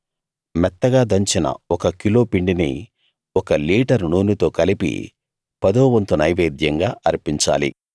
మెత్తగా దంచిన ఒక కిలో పిండిని ఒక లీటరు నూనెతో కలిపి పదోవంతు నైవేద్యంగా అర్పించాలి